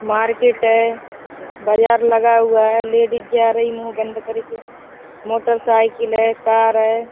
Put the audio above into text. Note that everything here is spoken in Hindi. मार्केट ऐ । बाजार लगा हुआ ऐ । लेडीज जा रही मुँह बंद करके। मोटरसाइकिल है। कार है ।